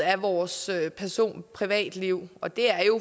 af vores person privatliv og det er jo